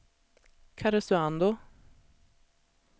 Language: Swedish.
Karesuando